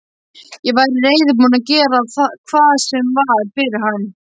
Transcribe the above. Ég væri reiðubúin að gera hvað sem var fyrir hann.